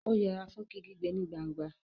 ó yẹra fún kíkígbe ní gbangba